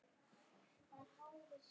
Ferskar fíkjur